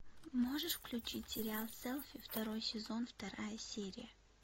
можешь включить сериал селфи второй сезон вторая серия